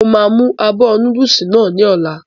Mo máa mú abọ́ núdùsì náà ní ọ̀la